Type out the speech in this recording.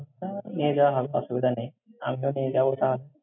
তাহলে নিয়ে যাওয়া হবে, অসুবিধা নেই। আমিও নিয়ে যাবো তাহলে।